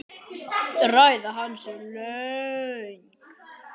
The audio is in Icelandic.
Ræða hans er löng.